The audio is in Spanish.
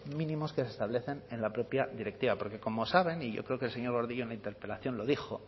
mínimos que se establecen en la propia directiva porque como saben y yo creo que el señor gordillo en la interpelación lo dijo